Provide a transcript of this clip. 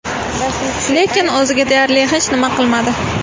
Lekin o‘ziga deyarli hech nima qilmadi.